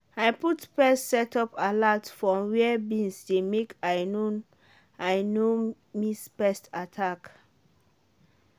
i put pest setup alert for where beans dey make i no i no miss pest attack.